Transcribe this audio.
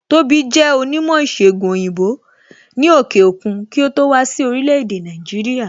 Tóbi jẹ onímò ìsègùn òyìnbó ni òkè òkun kí ó tó wá sí orílẹ̀ èdè Nàìjíríà